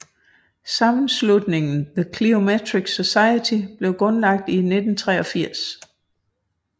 Sammenslutningen The Cliometric Society blev grundlagt i 1983